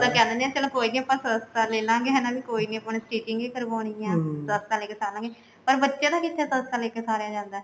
ਆਪਾਂ ਤਾਂ ਕਹਿ ਦਿੰਦੇ ਹਾਂ ਵੀ ਚਲੋ ਕੋਈ ਨੀ ਆਪਾਂ ਸਸਤਾ ਲੈਲਾਂਗੇ ਹਨਾ ਵੀ ਕੋਈ ਨੀ ਆਪਾਂ ਨੂੰ stitching ਵੀ ਕਰਵਾਉਣੀ ਐ ਸਸਤਾ ਲੇਕੇ ਸਾਰ ਲਾਂਗੇ ਪਰ ਬੱਚਿਆ ਦਾ ਕਿੱਥੇ ਸਸਤਾ ਲੈਕੇ ਸਾਰਿਆ ਜਾਂਦਾ